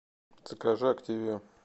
закажи активия